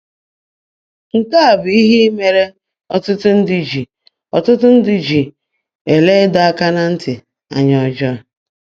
Nke a bụ ihe mere ọtụtụ ndị ji ọtụtụ ndị ji ele ịdọ aka na ntị anya ọjọọ.